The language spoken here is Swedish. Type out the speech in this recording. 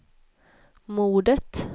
mordet